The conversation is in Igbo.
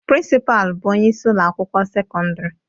Principal bụ onye isi ụlọ akwụkwọ sekọndrị